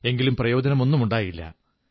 എങ്കിലും പ്രയോജനമൊന്നുമുണ്ടായില്ല